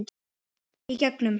Í gegnum